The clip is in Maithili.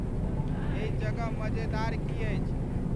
एहि जगह मज़ेदार की अछि